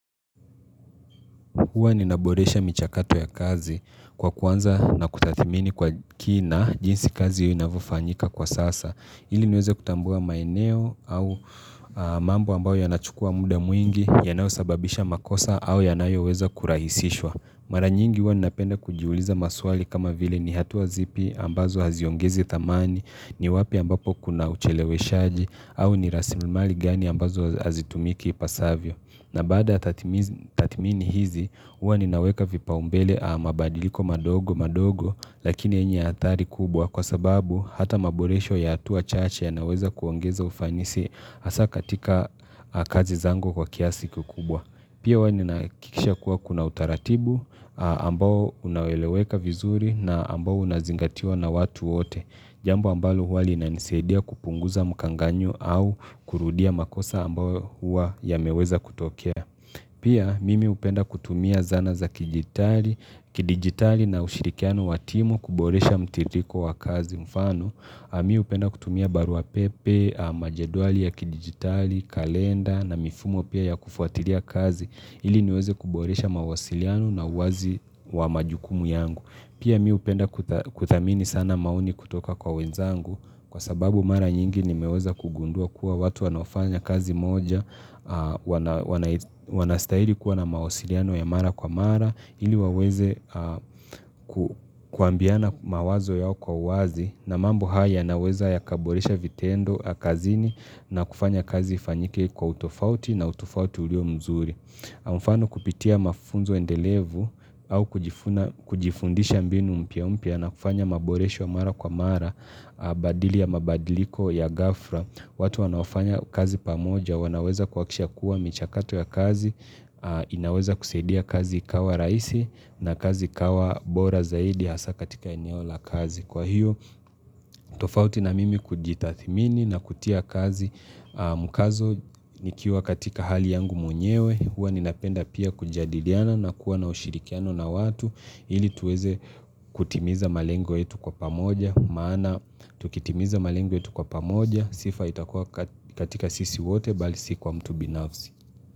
Huwa ninaboresha michakato ya kazi kwa kuanza na kutathmini kwa kina jinsi kazi inavyofanyika kwa sasa. Ili niweze kutambua maeneo au mambo ambayo yanachukua muda mwingi yanayosababisha makosa au yanayoweza kurahisishwa. Mara nyingi huwa ninapenda kujiuliza maswali kama vile ni hatua zipi ambazo haziongezi thamani, ni wapi ambapo kuna ucheleweshaji au ni rasirimali gani ambazo hazitumiki ipasavyo. Na baada tathmini hizi, huwa ninaweka vipau mbele mabadiliko madogo madogo lakini yenye athari kubwa kwa sababu hata maboresho ya hatua chache ya naweza kuongeza ufanisi hasa katika kazi zangu kwa kiasi kikubwa. Pia hua ninahakikisha kuwa kuna utaratibu ambao unaeleweka vizuri na ambao unazingatiwa na watu wote. Jambo ambalo hua linanisadia kupunguza mkanganyo au kurudia makosa ambayo hua yameweza kutokea. Pia mimi hupenda kutumia zana za kidigitali na ushirikiano wa timu kuboresha mtiririko wa kazi mfano. Mimi hupenda kutumia barua pepe, majedwali ya kidigitali, kalenda na mifumo pia ya kufuatilia kazi. Ili niweze kuboresha mawasiliano na uwazi wa majukumu yangu. Pia mimi hupenda kuthamini sana maoni kutoka kwa wenzangu kwa sababu mara nyingi nimeweza kugundua kuwa watu wanaofanya kazi moja. Wanastahili kuwa na mawasiliano ya mara kwa mara. Ili waweze kuambiana mawazo yao kwa uwazi na mambo haya yanaweza yakaboresha vitendo, kazini na kufanya kazi ifanyike kwa utofauti na utofauti ulio mzuri kwa mfano kupitia mafunzo endelevu au kujifundisha mbinu mpya mpya na kufanya maboresho mara kwa mara badili ya mabadiliko ya gafla watu wanaofanya kazi pamoja wanaweza kuhakikisha kuwa michakato ya kazi inaweza kusaidia kazi ikawa raisi na kazi ikawa bora zaidi hasa katika eneo la kazi Kwa hiyo tofauti na mimi kujitathmini na kutia kazi mkazo nikiwa katika hali yangu mwenyewe Hua ninapenda pia kujadiliana na kuwa na ushirikiano na watu ili tuweze kutimiza malengo yetu kwa pamoja Maana tukitimiza malengo yetu kwa pamoja Sifa itakua katika sisi wote bali siku wa mtu binafsi.